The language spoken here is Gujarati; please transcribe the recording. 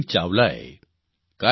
ગુરલીન ચાવલાએ